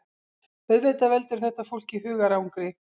Auðvitað veldur þetta fólki hugarangri